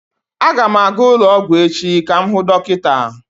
Aga m aga ụlọ ọgwụ echi ka m hụ dọkịta.